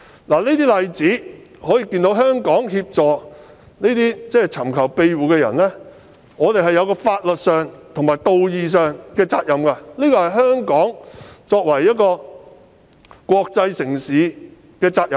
從以上例子可見，香港在協助尋求庇護人士方面須承擔法律上和道義上的責任，這也是香港作為一個國際城市的責任。